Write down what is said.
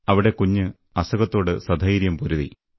അവിടെ കുഞ്ഞ് അസുഖത്തോട് സധൈര്യം പൊരുതി